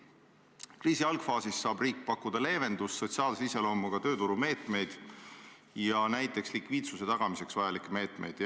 Kriisi algfaasis saab riik pakkuda leevendust, sotsiaalse iseloomuga tööturumeetmeid ja näiteks likviidsuse tagamiseks vajalikke meetmeid.